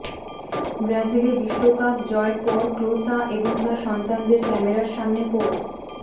ব্রাজিলে বিশ্বকাপ জয়ের পর ক্লোসা এবং তার সন্তানদের ক্যামেরার সামনে পোজ